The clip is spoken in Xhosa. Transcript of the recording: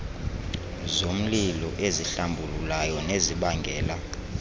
zomlilo ezihlambululayo nezibangela